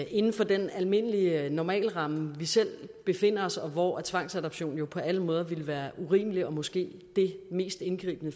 inden for den almindelige normalramme vi selv befinder os og hvor tvangsadoption jo på alle måder ville være urimeligt og måske det mest indgribende